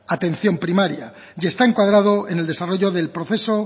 atención primaria y está encuadrado en el desarrollo del proceso